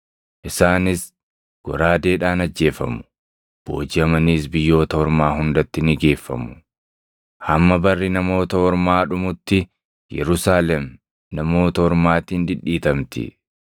Isaanis goraadeedhaan ajjeefamu; boojiʼamaniis biyyoota ormaa hundatti ni geeffamu; hamma barri Namoota Ormaa dhumutti Yerusaalem Namoota Ormaatiin dhidhiitamti.